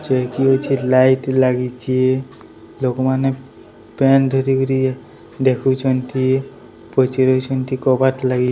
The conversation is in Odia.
ଏଠି ଲାଇଟ ଲାଗୁଛି। ଲୋକ ମାନେ ପ୳୲ନଟ